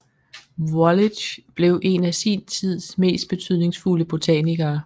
Wallich blev en af sin tids mest betydningsfulde botanikere